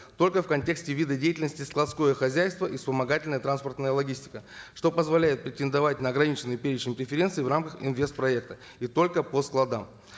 только в контексте вида деятельности складское хозяйство и вспомогательная транспортная логистика что позволяет претендовать на органиченный перечень преференций в рамках инвест проекта и только по складам